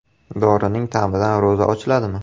Dorining ta’midan ro‘za ochiladimi?.